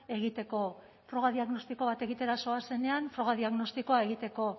egiteko froga diagnostiko bat egitera zoazenean froga diagnostikoa egiteko